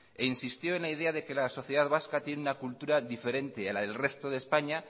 e insistió en la idea de que la sociedad vasca tiene una cultura diferente a la del resto de españa